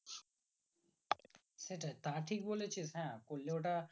সেটাই তা ঠিক বলে ছিস হ্যাঁ করলে ওটা